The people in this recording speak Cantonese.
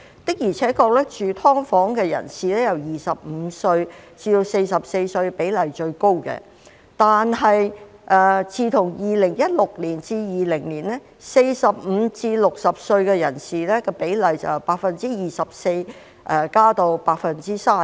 的而且確，住"劏房"的人由25歲至44歲的比例最高，但自從2016年至2020年 ，45 歲至60歲人士的比例由 24% 增至約 32%。